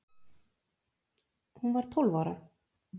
Hún var tólf ára.